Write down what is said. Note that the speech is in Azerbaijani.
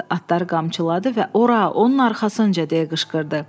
Atları qamçıladı və ora, onun arxasınca, deyə qışqırdı.